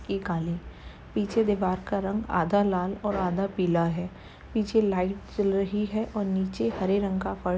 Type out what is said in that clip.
ये काले। पीछे दीवार का रंग आधा लाल और आधा पीला है। पीछे लाइट जल रही है और नीचे हरे रंग का फ़र --